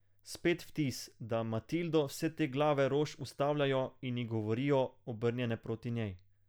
Spet vtis, da Matildo vse te glave rož ustavljajo in ji govorijo, obrnjene proti njej.